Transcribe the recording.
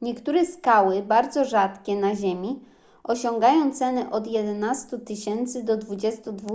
niektóre skały bardzo rzadkie na ziemi osiągają ceny od 11 000 do 22